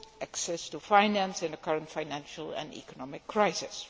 access to finance in the current financial and economic crisis.